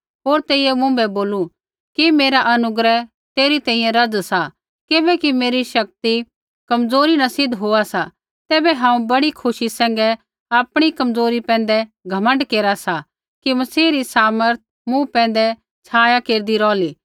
होर तेइयै मुँभै बोलू कि मेरा अनुग्रह तेरी तेइयै रज़ सा किबैकि मेरी शक्ति कमज़ोरी न सिद्ध होआ सा तैबै हांऊँ बड़ी खुशी सैंघै आपणी कमज़ोरी पैंधै घमण्ड केरा सा कि मसीह री सामर्थ मूँ पैंधै छाया केरदी रोहली